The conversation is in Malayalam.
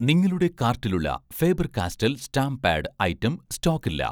നിങ്ങളുടെ കാർട്ടിലുള്ള Faber Castell stamp pad item സ്റ്റോക്കില്ല